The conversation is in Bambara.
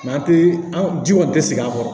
an tɛ an ji kɔni tɛ sigi an kɔrɔ